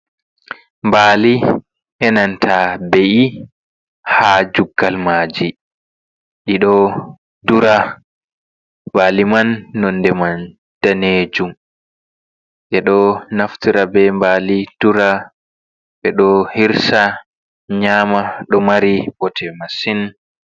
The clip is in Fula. Mbaali e nanta be’i ha juggal maaji, ɗi ɗo dura. Baali man nonde man daneejum. Ɓe ɗo naftora be mbaali dura, ɓe ɗo hirsa nyama. Ɗo mari bote masin.